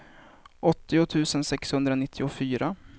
åttio tusen sexhundranittiofyra